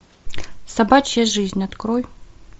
собачья жизнь открой